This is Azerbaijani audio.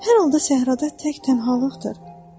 Hər halda səhrada tək-tənhalıqdır.